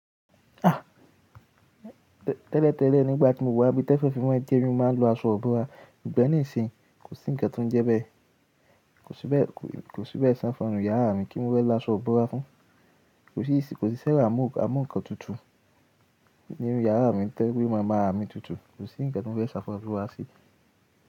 À, tẹ́lẹ̀ tẹ́lẹ̀ nígbà tí mo wà bí tẹ́fon fi man jẹ́ mi momáa ń lo aṣọ ìbọ́ra, ṣugbọn nísìnyí kò sí ǹkan tó ń jẹ bẹ́ẹ̀. Kò sí bẹ́ẹ̀, kò sí bẹ́ẹ̀ ṣi ẹfan ninun yàrá mi kí n mofẹ lo aṣọ ìbọ́ra fún. Kò sí ìsì, kò sí ṣẹrọ à mú à mú ǹkan tutù nínú yàrá mi tẹ́lẹ̀ kí ó máa ma há mi tutù. Kò sí ǹkan tí n wẹ́ ṣàfáràbó wa sí.